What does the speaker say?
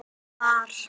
Þá var